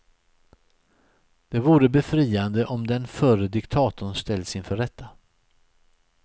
Det vore befriande om den förre diktatorn ställs inför rätta.